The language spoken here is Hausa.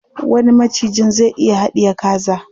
Wani macijin zai iya haɗiye kaza.